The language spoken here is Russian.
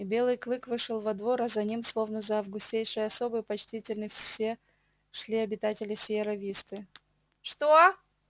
и белый клык вышёл во двор а за ним словно за августейшей особой почтительно шли все обитатели сиерра висты что